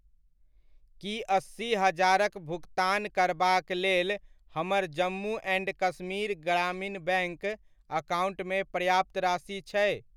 की अस्सी हजारक भुकतान करबाक लेल हमर जम्मू एण्ड कश्मीर ग्रामीण बैङ्क अकाउण्टमे पर्याप्त राशि छै?